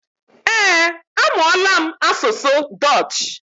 Eh, amụọla m asụsụ dutch